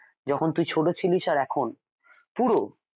এখন তুই ছোট ছিলিস আর এখন পুরো